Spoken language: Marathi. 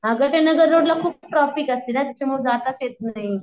अग त्या नागररोडला खूप ट्रॅफिक असताना त्याच्यामुळ जाताच येत नाही.